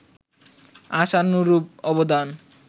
আশানুরূপ অবদান